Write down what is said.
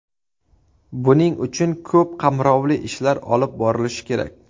Buning uchun ko‘p qamrovli ishlar olib borilishi kerak.